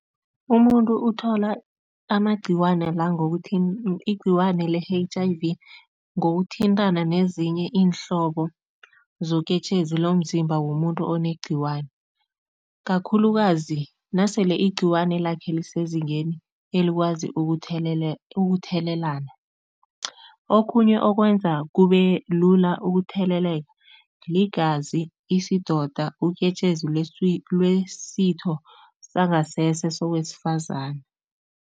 Umuntu uthola amagcikwana la ngokuthi igcikwane le-H_I_V ngokuthintana nezinye iinhlobo zoketjezi lomzimba womuntu onegcikwane, kakhulukazi nasele igcikwane lakhe lisezingeni elikwazi ukuthelelana. Okhunye okwenza kube lula ukutheleleka ligazi, isidoda uketjezi lwesitho sangasese sowesifazana.